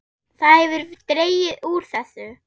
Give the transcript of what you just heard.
Það hefur dregið úr þessu.